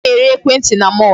A na-ere ekwentị na mall.